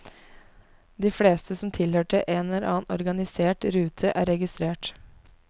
De fleste som tilhørte en eller annen organisert rute er registrert.